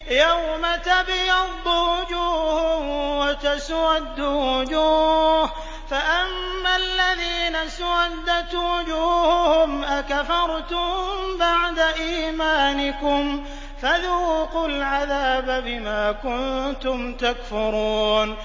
يَوْمَ تَبْيَضُّ وُجُوهٌ وَتَسْوَدُّ وُجُوهٌ ۚ فَأَمَّا الَّذِينَ اسْوَدَّتْ وُجُوهُهُمْ أَكَفَرْتُم بَعْدَ إِيمَانِكُمْ فَذُوقُوا الْعَذَابَ بِمَا كُنتُمْ تَكْفُرُونَ